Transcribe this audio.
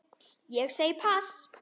Ég segi pass.